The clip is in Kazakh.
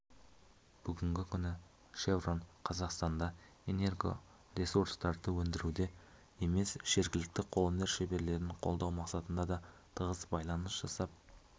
бүгінгі күні шеврон қазақстанда энергоресурстарды өндіруде емес жергілікті қолөнер шеберлерін қолдау мақсатында да тығыз байланыс жасап